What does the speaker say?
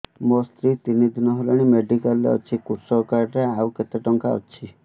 ମୋ ସ୍ତ୍ରୀ ତିନି ଦିନ ହେଲାଣି ମେଡିକାଲ ରେ ଅଛି କୃଷକ କାର୍ଡ ରେ ଆଉ କେତେ ଟଙ୍କା ଅଛି